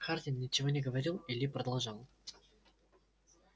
хардин ничего не говорил и ли продолжал